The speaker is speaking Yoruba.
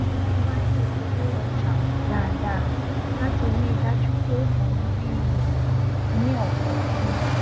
mo má n yẹ owó ọjà wò dáadáa láti rí i dájú pé mò n rí iyì ní ọkọọkan